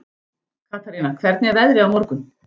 Katarína, hvernig er veðrið á morgun?